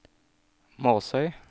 Måsøy